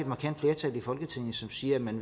markant flertal i folketinget som siger at man